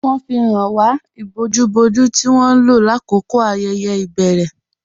Wọn fi háń wà íbòjú-bòjú tí wọn lọ lákọkọ ayéyé ibèrè.